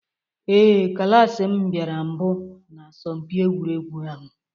Ee, klas m bịara mbụ na asọmpi egwuregwu ahụ.